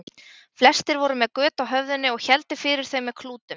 Flestir voru með göt á höfðinu og héldu fyrir þau með klútum.